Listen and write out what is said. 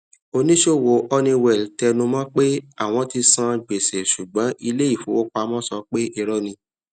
òní sọ owó honeywell tẹnumọ pé àwọn tí sàn gbèsè ṣùgbọn ilé ìfówópamọ sọ pé irọ ni